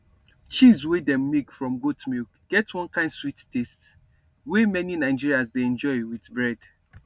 cheese wey dem make from goat milk get one kind sweet taste wey many nigerians dey enjoy with bread